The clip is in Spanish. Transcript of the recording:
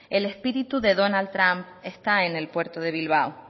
el espíritu de donald trump está en el puerto de bilbao